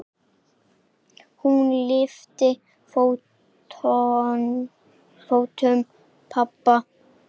Hún lyftir fótum pabba.